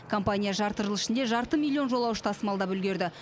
компания жарты жыл ішінде жарты миллион жолаушы тасымалдап үлгерді